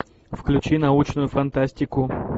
включи научную фантастику